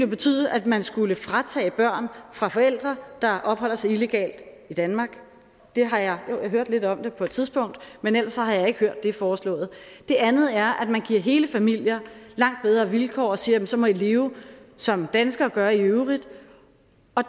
betyde at man skulle tage børn fra forældre der opholder sig illegalt i danmark jeg har hørt lidt om det på et tidspunkt men ellers har jeg ikke hørt det foreslået det andet er at man giver hele familier langt bedre vilkår og siger at så må i leve som danskere gør i øvrigt